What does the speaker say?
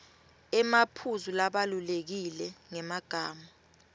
emaphuzu labalulekile ngemagama